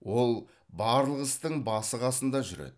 ол барлық істің басы қасында жүреді